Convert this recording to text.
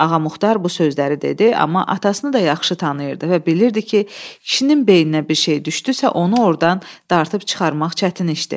Ağamuxtar bu sözləri dedi, amma atasını da yaxşı tanıyırdı və bilirdi ki, kişinin beyninə bir şey düşdüysə, onu ordan dartıb çıxarmaq çətin işdir.